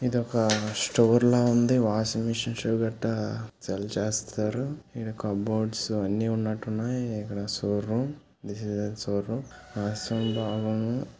ఒక స్టోర్ లో ఉంది వాషింగ్ మిషన్స్ గట్ట సేల్ చేస్తారు ఇడ కబోర్డ్స్ అన్నీ ఉన్నట్టున్నాయి ఇక్కడ షోరూం ఇదేదో షో రూమ్.